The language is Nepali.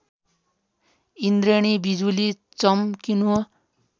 इन्द्रेणी विजुली चमकिनु